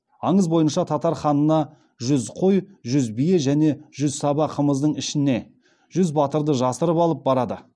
аңыз бойынша татар ханына жүз қой жүз бие және жүз саба қымыздың ішіне жүз батырды жасырып алып барады